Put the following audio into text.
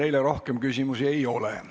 Teile rohkem küsimusi ei ole.